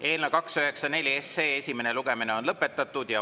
Eelnõu 294 esimene lugemine on lõpetatud.